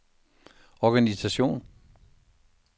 organisation